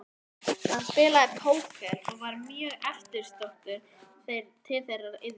Hann spilaði póker og var mjög eftirsóttur til þeirrar iðju.